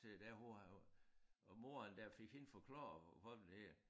Til der hvor han også og moren der fik hende forklaret hvad er det nu det hedder